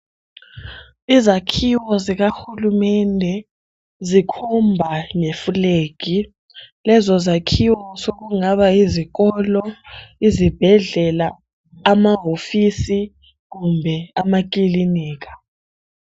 Izakhiwo zikahulumende zikhomba leflag. Lezo zakhiwo sokungaba yizikolo, izibhedlela , amahofisi kumbe amakilinika.